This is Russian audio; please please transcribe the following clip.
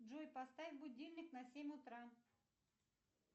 джой поставь будильник на семь утра